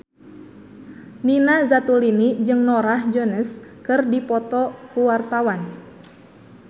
Nina Zatulini jeung Norah Jones keur dipoto ku wartawan